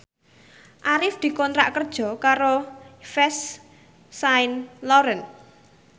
Arif dikontrak kerja karo Yves Saint Laurent